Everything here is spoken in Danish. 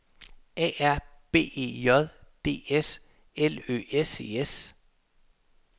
A R B E J D S L Ø S E S